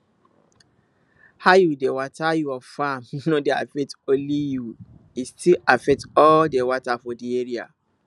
how you dey water your farm no dey affect only you e still affect all the water for the area